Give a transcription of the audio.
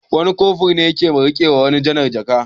Wani Kofur ne ya ke riƙe wa janar ɗin jaka.